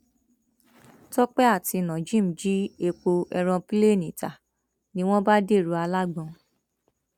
tọpẹ àti nojeem jí epo èròǹpilẹẹni ta ni wọn bá dèrò alágbọn